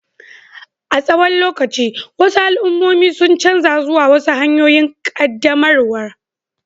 A tsawon lokaci, wasu al'ummomi sun canza zuwa wasu hanyoyin ƙaddamarwar